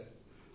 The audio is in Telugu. లేదు సర్